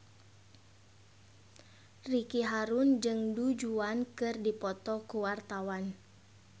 Ricky Harun jeung Du Juan keur dipoto ku wartawan